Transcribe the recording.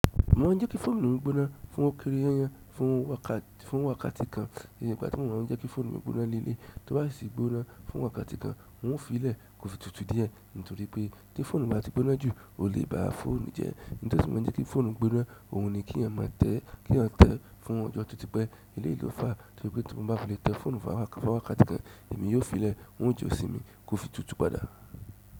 Mo ma n jẹ ki fóònù mi gbóná fún ókéré yanyan fún wákàtì kan, iye ni ìgbà tí mo ma n jẹ ki fóònù mi gbóná ní eleyi. Tí ó bá sì gbóná fún wákàtì kan, n ó fi lẹ̀ kò fi tùtù díẹ̀, nítorí pé tí fóònù bá ti gbóná jù, o léè bá fóònù jẹ. Nítorí tí mo bá jẹ́ kí fóònù gbóná, òun ni kí yan má tẹ́, kí yan tẹ́ fún ọjọ́ totí pé eleyi lò fàá. Nítorí pé tí mo bá fi lè tẹ́ fóònù fún wákàtì kan, èmi yóò fi lẹ̀, n ó jọsìn mi kò fi tùtù padà.